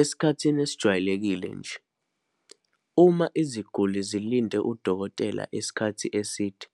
Esikhathini esijwayelekile nje, uma iziguli zilinde udokotela isikhathi eside,